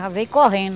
Já veio correndo.